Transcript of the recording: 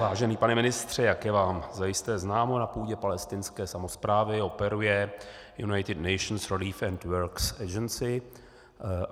Vážený pane ministře, jak je vám zajisté známo, na půdě palestinské samosprávy operuje United Nations Relief and Works Agency.